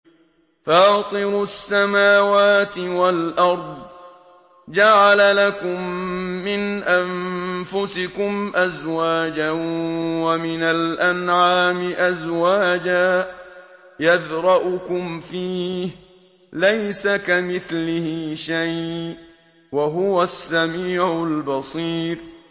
فَاطِرُ السَّمَاوَاتِ وَالْأَرْضِ ۚ جَعَلَ لَكُم مِّنْ أَنفُسِكُمْ أَزْوَاجًا وَمِنَ الْأَنْعَامِ أَزْوَاجًا ۖ يَذْرَؤُكُمْ فِيهِ ۚ لَيْسَ كَمِثْلِهِ شَيْءٌ ۖ وَهُوَ السَّمِيعُ الْبَصِيرُ